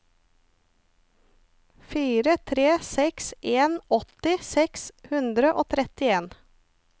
fire tre seks en åtti seks hundre og trettien